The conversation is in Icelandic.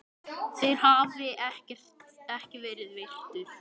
þeirra hafi ekki verið virtur.